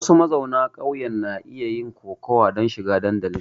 Wasu mazauna ƙauyen na iya yin kokawa don shiga dandali.